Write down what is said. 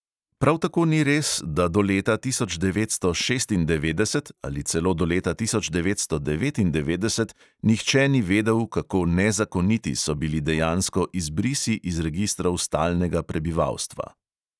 Prav tako ni res, da do leta tisoč devetsto šestindevetdeset ali celo do leta tisoč devetsto devetindevetdeset nihče ni vedel, kako nezakoniti so bili dejansko izbrisi iz registrov stalnega prebivalstva.